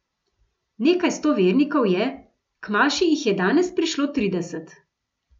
Nekaj sto vernikov je, k maši jih je danes prišlo trideset.